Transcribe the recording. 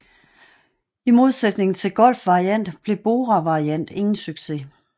I modsætning til Golf Variant blev Bora Variant ingen succes